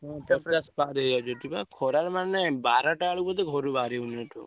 ଖରାରେ ମାନେ ବାର ଟାରେ ମାନେ ବାହାରକୁ ବାହାରି ହଉନି ଏଠି।